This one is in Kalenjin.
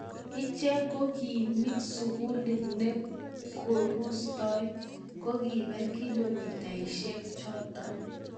Icheek ko kimiik sukuli ne kirusot to kibak kilomitasihe choto?